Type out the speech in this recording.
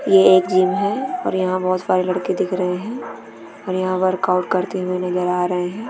ये एक जिम है और यह बहोत सारे लड़के दिख रहे है और यहाँ वर्क आउट करते हुए नज़र आ रहे है।